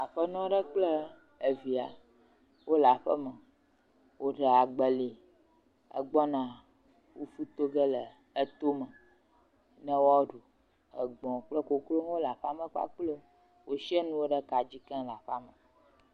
Aƒenɔ aɖe kple via wole aƒe me wòɖa agbeli gbɔna fufu to ge le to me ne woaɖu. Gbɔ̃ kple koklo wole aƒea me kpakple wo. Wo siã nuwo ɖe ka dzi keŋ le aƒea me.